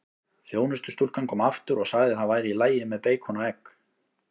Þjónustustúlkan kom aftur og sagði það væri í lagi með beikon og egg.